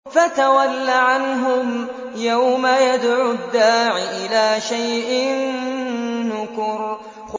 فَتَوَلَّ عَنْهُمْ ۘ يَوْمَ يَدْعُ الدَّاعِ إِلَىٰ شَيْءٍ نُّكُرٍ